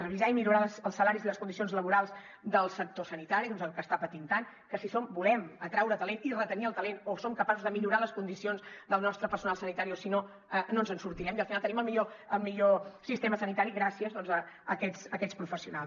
revisar i millorar els salaris i les condicions laborals del sector sanitari que està patint tant que si volem atraure talent i retenir el talent o som capaços de millorar les condicions del nostre personal sanitari o si no no ens en sortirem i al final tenim el millor sistema sanitari gràcies a aquests professionals